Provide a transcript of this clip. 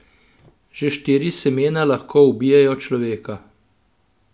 Že štiri semena lahko ubijejo človeka.